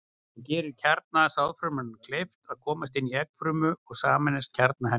Það gerir kjarna sáðfrumunnar kleift að komast inn í eggfrumuna og sameinast kjarna hennar.